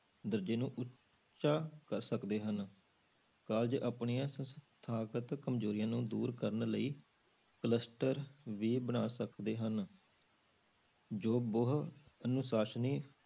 ਦਰਜ਼ੇ ਨੂੰ ਉੱਚਾ ਕਰ ਸਕਦੇ ਹਨ college ਆਪਣੀਆਂ ਸੰਸਥਾਗਤ ਕੰਮਜ਼ੋਰੀਆਂ ਨੂੰ ਦੂਰ ਕਰਨ ਲਈ cluster ਵੀ ਬਣਾ ਸਕਦੇੇ ਹਨ, ਜੋ ਬਹੁ ਅਨੁਸਾਸਨੀ